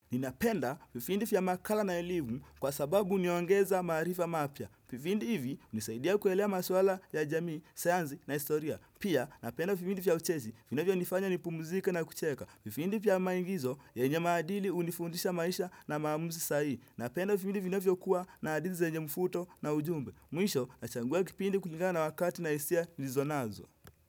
Ninapenda vipindi vya makala na elimu kwa sababu huniongeza maarifa mapya. Vipindi hivi hunisaidia kuelewa maswala ya jamii, sayansi na historia. Pia napenda vipindi vya hucheshi, vinavyonifanya nipumzike na kucheka. Vipindi vya maigizo, yenye maadili hunifundisha maisha na maamuzi sahihi. Napenda vipindi vinavyokuwa na hadithi zenye mvuto na ujumbe. Mwisho, nachagua kipindi kulingana wakati na hisia nilizonazo.